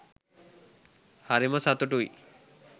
හරිම සතුටුයි